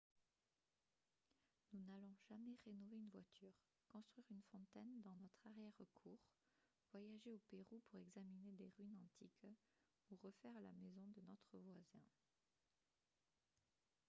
nous n'allons jamais rénover une voiture construire une fontaine dans notre arrière-cour voyager au pérou pour examiner des ruines antiques ou refaire la maison de notre voisin